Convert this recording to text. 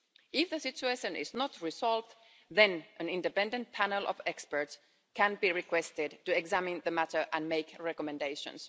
If the situation is not resolved, then an independent panel of experts can be requested to examine the matter and make recommendations.